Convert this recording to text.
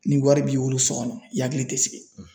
Ni wari b'i bolo so kɔnɔ i hakili tɛ sigi